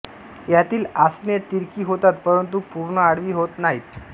यातील आसने तिरकी होतात परंतु पूर्ण आडवी होत नाहीत